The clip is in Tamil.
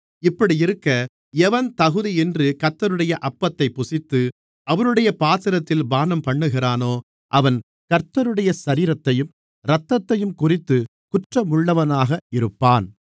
இப்படியிருக்க எவன் தகுதியின்றி கர்த்தருடைய அப்பத்தைப் புசித்து அவருடைய பாத்திரத்தில் பானம்பண்ணுகிறானோ அவன் கர்த்தருடைய சரீரத்தையும் இரத்தத்தையும்குறித்துக் குற்றமுள்ளவனாக இருப்பான்